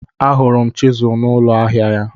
Ahụrụ m chizụl n'ụlọ ahịa ya.